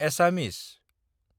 एसामिस